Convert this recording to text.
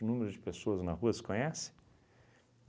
O número de pessoas na rua, você conhece?